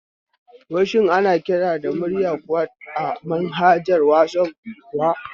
Wai shin ana kiran da murya kuwa a manhaja na wasaf kuwa?